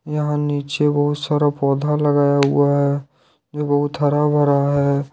यहां नीचे बहुत सारा पौधा लगाया हुआ है ये बहुत हरा भरा है।